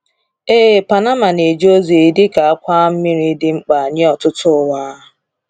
Ee, Panama na-eje ozi dị ka àkwà mmiri dị mkpa nye ọtụtụ ụwa.